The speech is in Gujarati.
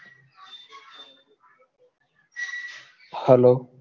hello